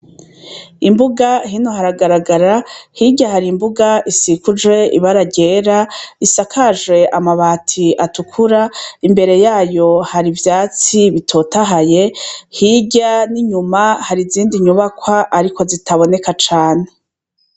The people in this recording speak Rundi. imbuga hino haragaragara, hirya hari imbuga isikujwe ibara ryera isakaje amabati atukura imbere yayo hari ivyatsi bitotahaye, hirya n'inyuma hari izindi nyubakwa ariko zitaboneka cane.